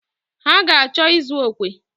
Ha ga-achọ ịzụ okwe.